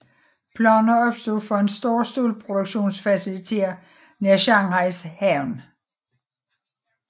Planer opstod for en stor stålproduktionsfacilitet nær Shanghais havn